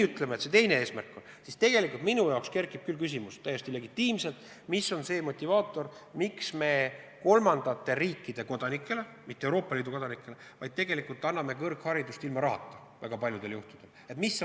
Kui meil see teine eesmärk on, siis minu jaoks kerkib küll täiesti legitiimselt küsimus, mis on see motivaator, miks me kolmandate riikide kodanikele, mitte Euroopa Liidu kodanikele anname kõrgharidust väga paljudel juhtudel ilma rahata.